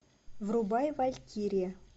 врубай валькирия